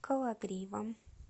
кологривом